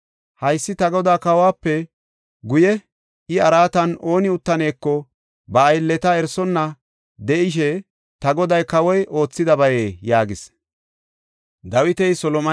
Haysi ta godaa kawuwape guye iya araatan ooni uttaneeko ba aylleta erisonna de7ishe ta goday kawoy oothidabayee?” yaagis.